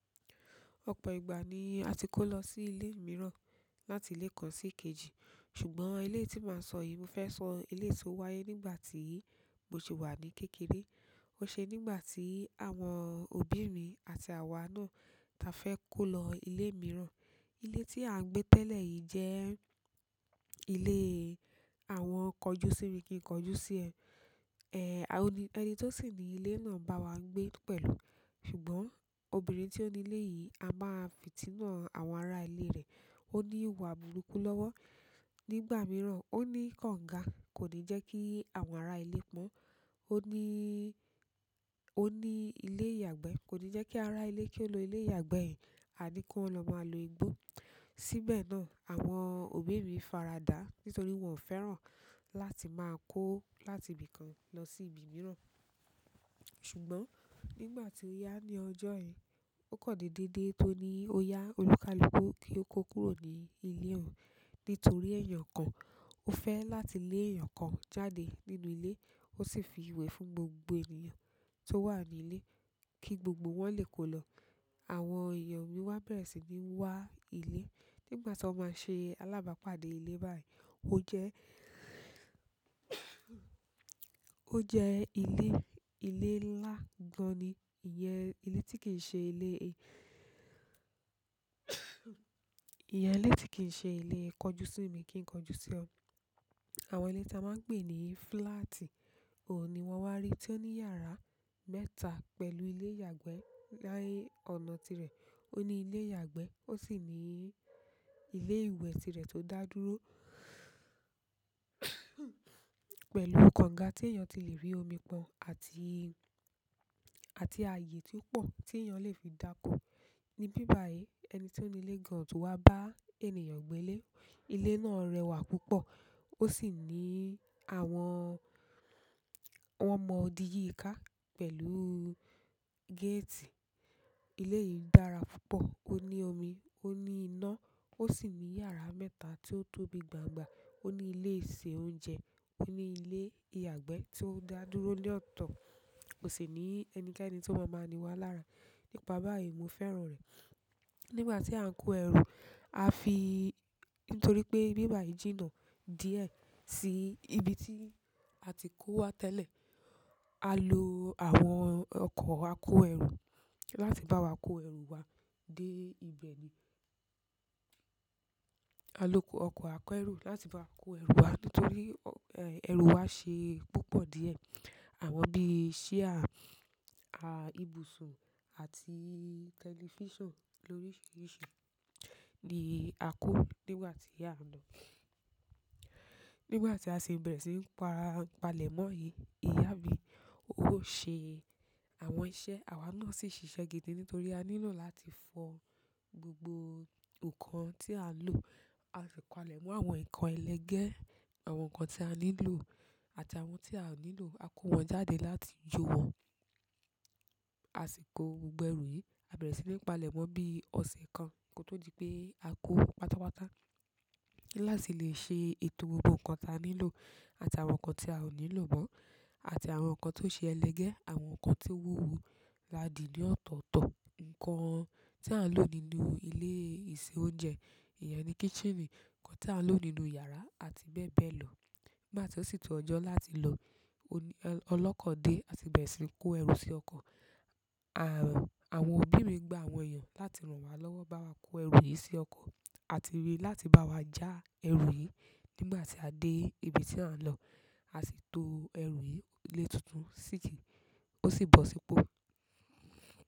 Ọ̀pọ̀ ìgbà ni a ti kó lọ sí ilé mìíràn láti ilé kan sí kejì. Ṣùgbọ́n ilé tí màá sọ yìí, mo fẹ́ sọ ilé tí ó wáyé nígbà tí mo sì wà ní kékeré. Ó ṣe nígbà tí àwọn òbí mi àti àwa náà ta fẹ́ kó lọ ilé mìíràn. Ilé tí à ń gbé tẹ́lẹ̀ yìí jẹ́ ilé àwọn kọjúsì mi kí n kọjúsì ẹ. Èé, ẹni tó sì ní ilé náà bá wa gbé pẹ̀lú. Ṣùgbọ́n obìnrin tí ó ní ilé yìí, a máa fi ti nà àwọn ará ilé rẹ̀. Ó ní ìwà burúkú lọ́wọ́. Nígbà mìíràn, ó ní kọ̀ǹgá, kò ní jẹ́ kí àwọn ará ilé pọ́n. Ó ní, ó ní ilé ìyàgbẹ́, kò ní jẹ́ kí ará ilé kí ó lo ilé ìyàgbẹ́ ẹ. A ní kí wọ́n lọ máa lo igbó. Síbẹ̀ náà, àwọn òbí mi faradà nítorí wọn ò fẹ́ràn láti máa kó láti ibì kan lọ sí ibi mìíràn. Ṣùgbọ́n nígbà tí oyà ní ọjọ́ yen, ó kọ̀ dédé dé tó ní oyà olùkálùkù kí ó kó kúrò ní ilé òun nítorí èèyàn kan. Ó fẹ́ láti lé èèyàn kan jáde nínú ilé, ó sì fi ìwé fún gbogbo ènìyàn tó wà ní ilé kí gbogbo wọn lè kó lọ. Àwọn èèyàn mi wá bẹ̀rẹ̀ sí ní wá ilé. Nígbà tí wọ́n máa ṣe alábàápàdé ilé báyìí, ó jẹ́, ó jẹ́ ilé, ilé ńlá gan-an ni. Ìyẹn ilé tí kì í ṣe ilé, ìyẹn ilé tí kì í ṣe ilé kọjúsì mi kí n kọjúsì ẹ. Àwọn ilé tí a máa ń pè ní flaati, òun ni wọ́n wá rí tí ó ní yàrá mẹ́ta pẹ̀lú ilé ìyàgbẹ́ nì ọ̀nà tirẹ̀. Ó ní ilé ìyàgbẹ́, ó sì ní ilé ìwẹ̀ tirẹ̀ tó dá dúró pẹ̀lú kọ̀ǹgá tí èèyàn ti lè rí omi pọ́n àti, àti ààyè tí ó pọ̀ tí èèyàn lè fi dàkọ. Ni bíbàyí ẹni tí ó ní ilé gan-an o tu wá bá ènìyàn gbé ilé. Ilé náà rẹwà púpọ̀. Ó sì ní àwọn, wọn mọ odi yíká pẹ̀lú géètì. Ilé yìí dára púpọ̀. Ó ní omi, ó ní iná, ó sì ní yàrá mẹ́ta tí ó tóbi gbàngba. Ó ní ilé ìṣe oúnjẹ, ó ní ilé ìyàgbẹ́ tí ó dá dúró ní ọ̀tọ̀. Kò sì ní ẹnikẹ́ni tí ó máa máa ni wá lára. Nípa báyìí mo fẹ́ràn rẹ̀. Nígbà tí à ń kó ẹrù, a fi-- nítorí pé bíbàyí jìnnà díẹ̀ sí ibi tí a ti kó wá tẹ́lẹ̀. A lo àwọn ọkọ̀ akó ẹrù láti bá wa kó ẹrù wa dé ibẹ̀ ni. A lo ọkọ̀ akó ẹrù láti bá wa kó ẹrù wa nítorí ẹrù wa ṣe púpọ̀ díẹ̀. Àwọn bí i ṣíá, ibùsùn àti tẹlifíṣàn lóríṣiríṣi ni a kó nígbà tí a ń lọ. Nígbà ti a si bere sin pa ile mo yìí, iya mi, o se àwọn iṣẹ́ awa náà si sise gidi nítorí a nílò láti fo gbogbo nǹkan ti a n lo. A si palemo àwọn nǹkan elege, àwọn nǹkan ti a ni lo àti àwọn ti a o nílò a ko won jáde láti jo won. A sì kó gbogbo ẹrù yìí, a bẹ̀rẹ̀ sí ní palẹ̀ mọ́ bí ọ̀sẹ̀ kan kí o tó di pé a kó pátápátá. La ti le se ètò gbogbo nǹkan ti a nílò àti àwọn nǹkan ti a o nílò mo àti àwọn nǹkan to se elege, àwọn nǹkan tino wuwo, a di ni ọ̀tọ̀ọ̀tọ̀. Ǹkan tí à ń lò nínú ilé ìṣe oúnjẹ, ìyẹn ni kiitcheni. Ǹkan tí à ń lò nínú yàrá àti bẹ́ẹ̀ bẹ́ẹ̀ lọ. Nígbà tí ó sì tó ọjọ́ láti lọ, olókò dé a sì bẹ̀rẹ̀ sí ní kó ẹrù sí ọkọ̀. Àwọn òbí mi gba àwọn èèyàn láti ràn wá lọ́wọ́ bá wa kó ẹrù yìí sí ọkọ̀ àti rí láti bá wa já ẹrù yìí nígbà tí a dé ibi tí à ń lọ. A sì to ẹrù yìí lé tuntun sí tí, ó sì bọ̀ sípò.